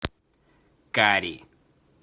кари